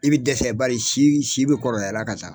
I bɛ dɛsɛ bari si bɛ kɔrɔbayala ka taa